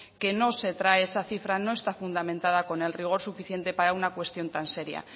que no se trae esa cifra no está fundamentada con el rigor suficiente para una cuestión tan seria